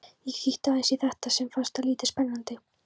Ég kíkti aðeins í þetta en fannst það lítið spennandi.